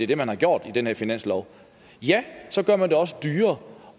det man har gjort i den her finanslov så gør man det også dyrere